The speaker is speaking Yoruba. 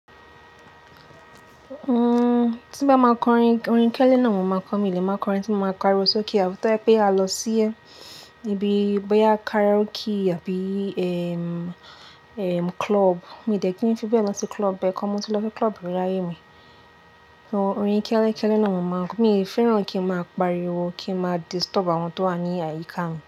Uhm, tí bá máa kọ orin, orin kíẹlẹ náà mo máa kọ mí, lè má kọ orin tí mo máa ń pariwo sókè. Àfàìpẹ́ a lọ sí ẹ́ bíi ibi boya karaoke àbí, ehm, ehm, club. Mi dẹ̀ kín fi bẹ́ẹ̀ lọ sí club ẹ̀kan mo ti lọ sí club rí láyé mi. Orin kelẹkẹ́lẹ náà mo máa kọ. Mi o fẹ́ràn kí n máa pariwo kí n máa disturb àwọn tó wà ní àyíká mi.